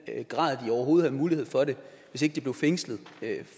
grad de overhovedet havde mulighed for det hvis ikke de blev fængslet